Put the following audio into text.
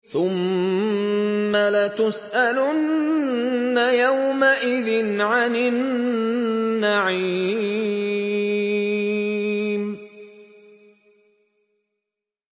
ثُمَّ لَتُسْأَلُنَّ يَوْمَئِذٍ عَنِ النَّعِيمِ